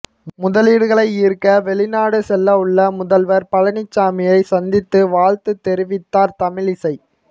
முதலீடுகளை ஈர்க்க வெளிநாடு செல்லவுள்ள முதல்வர் பழனிசாமியை சந்தித்து வாழ்த்து தெரிவித்தார் தமிழிசை